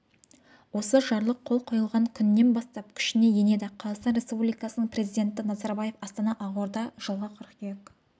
осы жарлық қол қойылған күнінен бастап күшіне енеді қазақстан республикасының президенті назарбаев астана ақорда жылғы қыркүйек